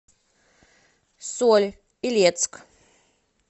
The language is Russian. соль илецк